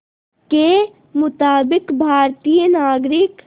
के मुताबिक़ भारतीय नागरिक